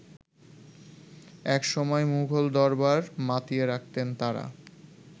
একসময় মুঘল দরবার মাতিয়ে রাখতেন তারা।